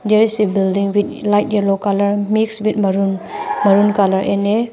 There is a building with like yellow colour mixed with maroon maroon colour in a --